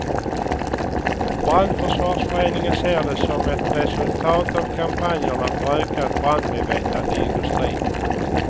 Brandförsvarsföreningen ser det som ett resultat av kampanjerna för ökat brandmedvetande i industrin.